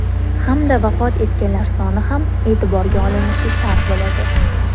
Hamda vafot etganlar soni ham e’tiborga olinishi shart bo‘ladi.